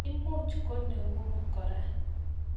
Imuch ko neng'ung' kora.